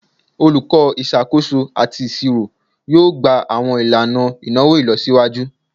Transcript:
Olukọ Isakoso ati Iṣiro yoo gba awọn ilana inawo ilọsiwaju